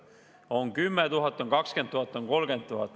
On 10 000, on 20 000, on 30 000.